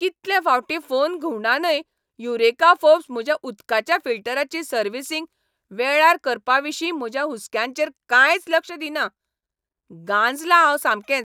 कितले फावटी फोन घुंवडावनय युरेका फोर्ब्स म्हज्या उदकाच्या फिल्टराची सर्व्हिसींग वेळार करपाविशीं म्हज्या हुस्क्यांचेर कांयच लक्ष दिना. गांजलां हांव सामकेंच.